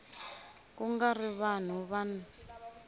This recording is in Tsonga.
ku nga ri vanhu van